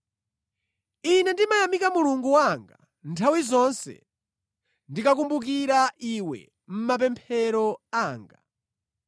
Ine ndimayamika Mulungu wanga nthawi zonse ndikakukumbukira iwe mʼmapemphero anga.